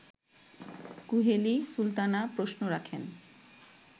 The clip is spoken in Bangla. কুহেলি সুলতানা প্রশ্ন রাখেন